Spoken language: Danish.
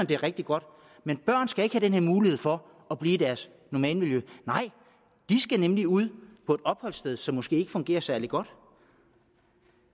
det er rigtig godt men børn skal ikke have den mulighed for at blive i deres normale miljø nej de skal nemlig ud på et opholdssted som måske ikke fungerer særlig godt